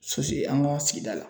an ka sigida la